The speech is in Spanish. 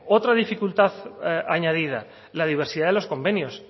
otra dificultad añadida la diversidad de los convenios